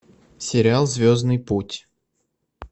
сериал звездный путь